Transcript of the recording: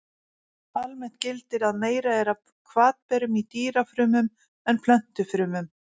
Almennt gildir að meira er af hvatberum í dýrafrumum en plöntufrumum.